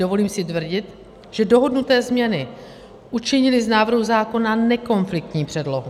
Dovolím si tvrdit, že dohodnuté změny učinily z návrhu zákona nekonfliktní předlohu.